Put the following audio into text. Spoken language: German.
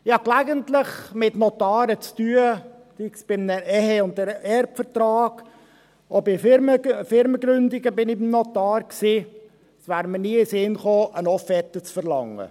Ich habe gelegentlich mit Notaren zu tun, sei es bei einem Ehe- und einem Erbvertrag, auch bei Firmengründungen war ich beim Notar, und es wäre mir nie in den Sinn gekommen, eine Offerte zu verlangen.